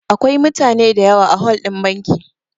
Akwai mutane da yawa a hol ɗin banki